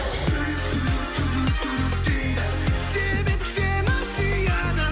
жүрек дейді себеп сені сүйеді